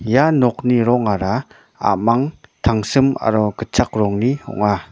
ia nokni rongara a·mang tangsim aro gitchak rongni ong·a.